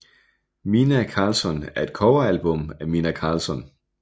Minnah Karlsson er et coveralbum af Minnah Karlsson